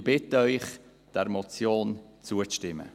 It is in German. Wir bitten Sie, dieser Motion zuzustimmen.